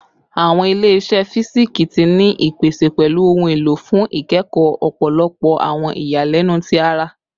Awọn ile-iṣẹ fisiksi ti ni ipese pẹlu ohun elo fun ikẹkọ ọpọlọpọ awọn iyalẹnu ti ara